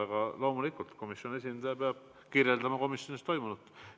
Aga loomulikult, komisjoni esindaja peab kirjeldama komisjonis toimunut.